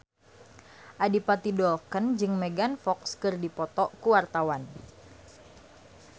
Adipati Dolken jeung Megan Fox keur dipoto ku wartawan